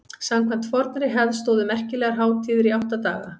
samkvæmt fornri hefð stóðu merkilegar hátíðir í átta daga